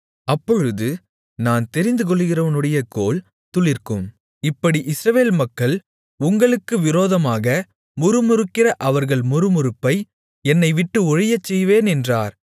அப்பொழுது நான் தெரிந்துகொள்ளுகிறவனுடைய கோல் துளிர்க்கும் இப்படி இஸ்ரவேல் மக்கள் உங்களுக்கு விரோதமாக முறுமுறுக்கிற அவர்கள் முறுமுறுப்பை என்னைவிட்டு ஒழியச்செய்வேன் என்றார்